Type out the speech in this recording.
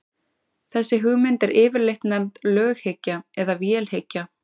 þessi hugmynd er yfirleitt nefnd löghyggja eða vélhyggja